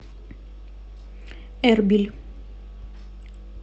эрбиль